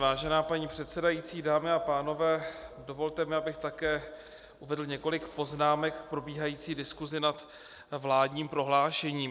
Vážená paní předsedající, dámy a pánové, dovolte mi, abych také uvedl několik poznámek k probíhající diskusi nad vládním prohlášením.